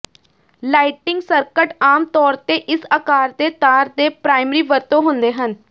lighting circuit ਆਮ ਤੌਰ ਤੇ ਇਸ ਆਕਾਰ ਦੇ ਤਾਰ ਦੇ ਪ੍ਰਾਇਮਰੀ ਵਰਤੋਂ ਹੁੰਦੇ ਹਨ